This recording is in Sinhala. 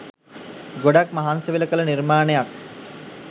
ගොඩක් මහන්සිවෙලා කළ නිර්මාණයක්